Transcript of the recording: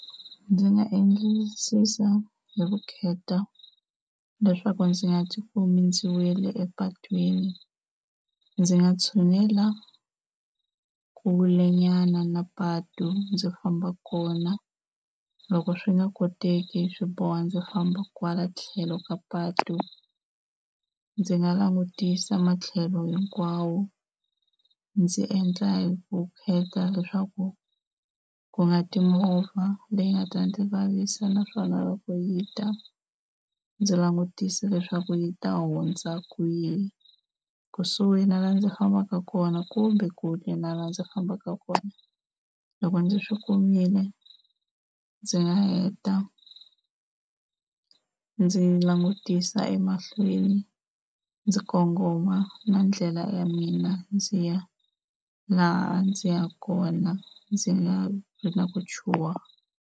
Ndzi nga endlisisa hi vukheta leswaku ndzi nga tikumi ndzi wele epatwini. Ndzi nga tshunela kulenyana na patu ndzi famba kona, loko swi nga koteki swi boha ndzi famba kwala tlhelo ka patu. Ndzi nga langutisa matlhelo hinkwawo ndzi endla hi vukheta leswaku ku nga ti movha leyi nga ta ndzi vavisa naswona loko yi ta ndzi langutisa leswaku yi ta hundza kwihi, kusuhi na laha ndzi fambaka kona kumbe kule na laha ndzi fambaka kona. Loko ndzi swi kumile ndzi nga heta ndzi langutisa emahlweni ndzi kongoma na ndlela ya mina ndzi ya laha ndzi yaka kona ndzi nga ri na ku chuhwa.